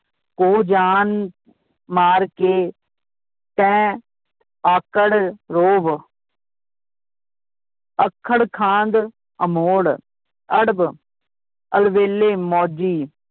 ਕੋ ਜਾਨ ਮਾਰ ਕੇ, ਤੈ, ਆਕੜ, ਰੋਹਬ ਅੱਖੜਖਾਂਦ, ਅਮੋੜ, ਅੜਬ, ਅਲਬੇਲੇ, ਮੌਜੀ